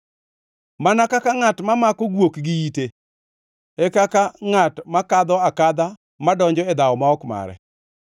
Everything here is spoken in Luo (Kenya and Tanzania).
Mana kaka ngʼat mamako guok gi ite, e kaka ngʼat makadho akadha madonjo e dhawo ma ok mare.